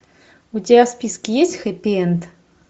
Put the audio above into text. у тебя в списке есть хеппи энд